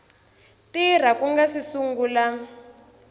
tirha ku nga si sungula